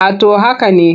A to haka ne.